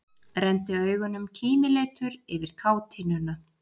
Renndi augunum kímileitur yfir kátínuna.